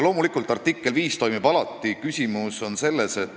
Loomulikult artikkel 5 toimib alati.